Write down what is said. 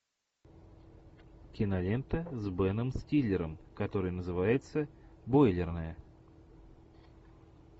кинолента с беном стиллером которая называется бойлерная